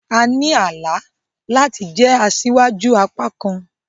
A ní àlá láti jẹ asíwájú àpá kan